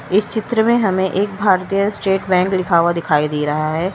इस चित्र में हमें एक भारतीय स्टेट बैंक लिखा हुआ दिखाई दे रहा है।